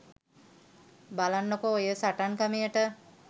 බලන්නකෝ ඔය සටන් ක්‍රමයට